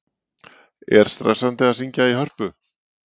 Er stressandi að syngja í Hörpu?